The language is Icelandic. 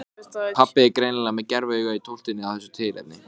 KVEÐJUKOSSINN er í eðli sínu langdreginn með saltbragði.